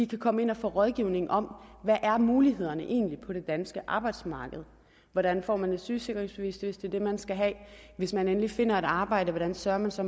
kan komme ind og få rådgivning om hvad mulighederne egentlig er på det danske arbejdsmarked hvordan får man et sygesikringsbevis hvis det er det man skal have hvis man endelig finder et arbejde hvordan sørger man så